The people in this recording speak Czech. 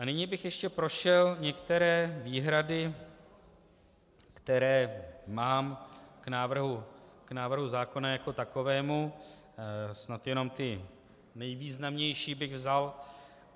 A nyní bych ještě prošel některé výhrady, které mám k návrhu zákona jako takovému, snad jenom ty nejvýznamnější bych vzal.